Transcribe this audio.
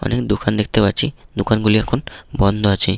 অনেক দোকান দেখতে পাচ্ছি দোকানগুলি এখন বন্ধ আছে